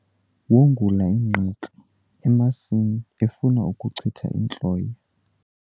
Wongula ingqaka emasini efuna ukuchitha intloya.